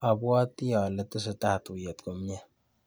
Abwoti ale tesetai tuiyet komnyie.